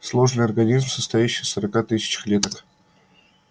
сложный организм состоящий из сорока тысяч клеток